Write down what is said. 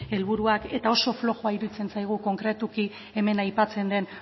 helburuak eta oso flojoa iruditzen zaigu konkretuki hemen aipatzen den